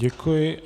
Děkuji.